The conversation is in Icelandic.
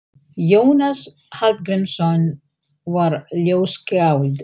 Jónas Hallgrímsson var ljóðskáld.